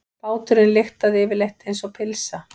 Báturinn lyktaði yfirleitt einsog pylsa.